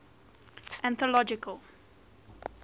anthological